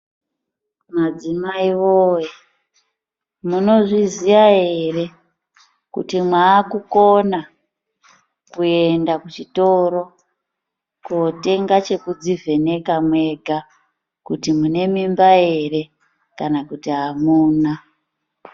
Madzimai woye munozviziya ere kuti mwakukona kuenda kuchitoro kotenga chekudzivheneka mwega kuti munemimba ere kana kuti amuna.